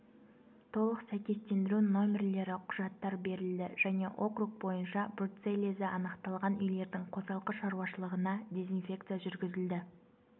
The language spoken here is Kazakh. толық сәйкестендіру нөмірлері құжаттар берілді және округ бойынша бруцеллезі анықталған үйлердің қосалқы шаруашылығына дезинфекция жүргізілді